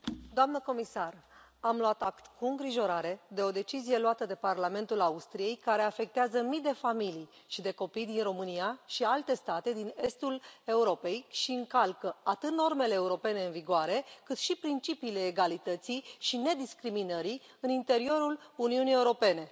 Doamnă comisar, am luat act cu îngrijorare de o decizie luată de Parlamentul Austriei care afectează mii de familii și de copii din România și alte state din estul Europei și încalcă atât normele europene în vigoare, cât și principiile egalității și nediscriminării în interiorul Uniunii Europene.